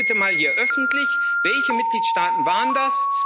Sagen Sie uns bitte mal hier öffentlich Welche Mitgliedstaaten waren das?